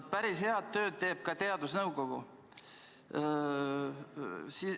Päris head tööd teeb ka teadusnõukoda.